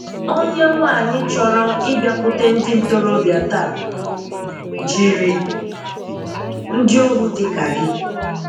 Onye nwányị chọrọ ịbịakwute ndị ntòròbíà tãa, jiri ndị ohu dị ka gị.